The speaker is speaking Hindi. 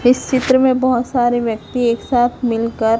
इस चित्र में बहोत सारे व्यक्ती एक साथ मिल कर--